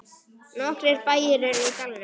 Nokkrir bæir eru í dalnum.